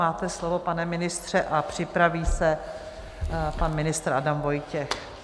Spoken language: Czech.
Máte slovo, pane ministře, a připraví se pan ministr Adam Vojtěch.